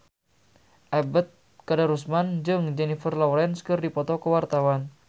Ebet Kadarusman jeung Jennifer Lawrence keur dipoto ku wartawan